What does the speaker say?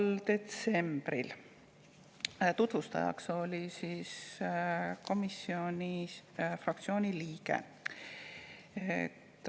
tutvustajaks oli komisjoni fraktsiooni liige.